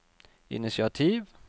initiativ